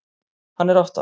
Hann er átta ára.